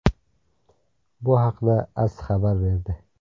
Bu haqda AS xabar berdi .